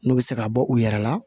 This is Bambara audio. N'u bɛ se ka bɔ u yɛrɛ la